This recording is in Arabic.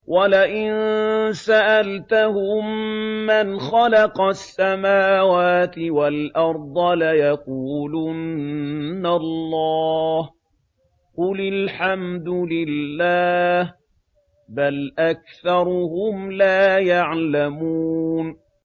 وَلَئِن سَأَلْتَهُم مَّنْ خَلَقَ السَّمَاوَاتِ وَالْأَرْضَ لَيَقُولُنَّ اللَّهُ ۚ قُلِ الْحَمْدُ لِلَّهِ ۚ بَلْ أَكْثَرُهُمْ لَا يَعْلَمُونَ